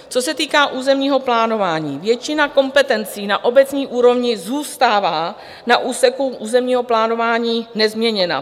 Co se týká územního plánování: většina kompetencí na obecní úrovni zůstává na úseku územního plánování nezměněna.